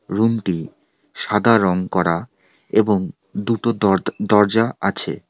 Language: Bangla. রুম -টি সাদা রঙ করা এবং দুটো দরদা দরজা আছে।